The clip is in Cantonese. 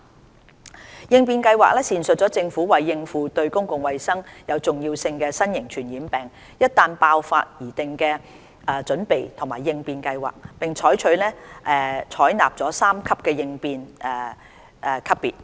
準備及應變計劃闡述政府為應付"對公共衞生有重要性的新型傳染病"一旦爆發而擬定的準備和應變計劃，並採納三級應變級別。